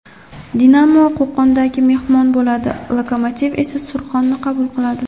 "Dinamo" Qo‘qonda mehmon bo‘ladi, "Lokomotiv" esa "Surxon"ni qabul qiladi.